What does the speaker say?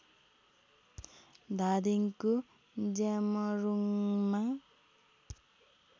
धादिङको ज्यामरुङमा